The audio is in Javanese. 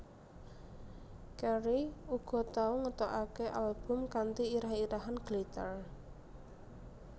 Carey uga tau ngetokake album kanthi irah irahan Glitter